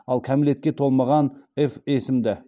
ал кәмелетке толмаған ф есімді